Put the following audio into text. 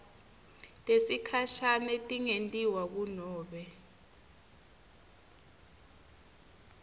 tesikhashane tingentiwa kunobe